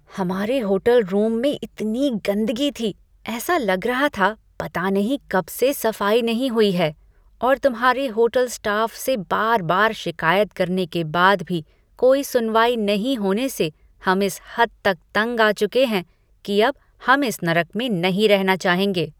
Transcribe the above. हमारे hotel room में इतनी गंदगी थी, ऐसा लग रहा था पता नहीं कब से सफाई नहीं हुई है और तुम्हारे होटल स्टाफ से बार बार शिकायत करने के बाद भी कोई सुनवाई नहीं होने से हम इस हद तक तंग आ चुके हैं कि अब हम इस नरक में नहीं रहना चाहेंगे।